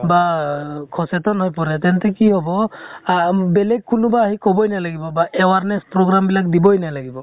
বা সচেতন হৈ পৰে, তেন্তে কি হʼব, আ বেলেগ কোনোৱা আহি কʼবই নালাগিব বা awareness program বিলাক দিবৈ নালাগিব ।